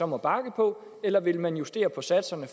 må bakke på eller vil man justere på satserne